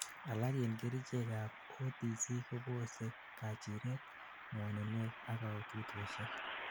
alak en kerchek ab OTC kobose kachiret, ngwoninwek ak kaututoshek